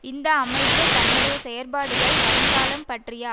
இந்த அமைப்பு தன்னுடைய செயற்பாடுகள் வருங்காலம் பற்றிய